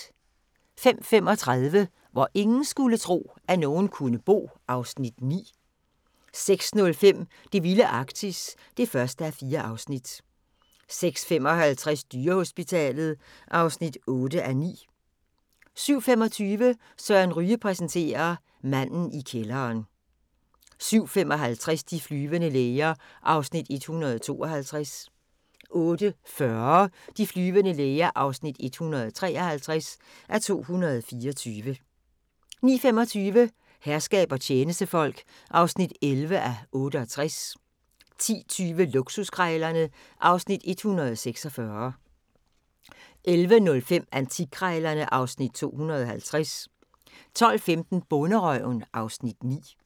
05:35: Hvor ingen skulle tro, at nogen kunne bo (Afs. 9) 06:05: Det vilde Arktis (1:4) 06:55: Dyrehospitalet (8:9) 07:25: Søren Ryge præsenterer: Manden i kælderen 07:55: De flyvende læger (152:224) 08:40: De flyvende læger (153:224) 09:25: Herskab og tjenestefolk (11:68) 10:20: Luksuskrejlerne (Afs. 146) 11:05: Antikkrejlerne (Afs. 250) 12:15: Bonderøven (Afs. 9)